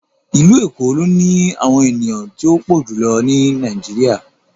Ilu Eko lo ni awọn eniyan ti o pọ julọ ni Nàìjíríà